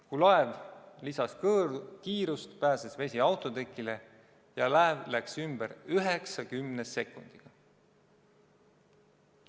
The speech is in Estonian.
Kui laev lisas kiirust, pääses vesi autotekile ja laev läks ümber 90 sekundiga.